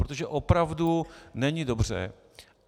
Protože opravdu není dobře.